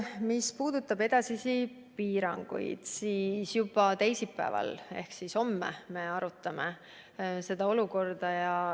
Mis puudutab edasisi piiranguid, siis juba teisipäeval ehk homme me arutame olukorda.